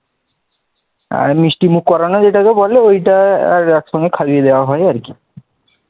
মিষ্টিমুখ করানো যেটাকে বলে, ওইটা একসঙ্গে খাইয়ে দেওয়া হয় আর কি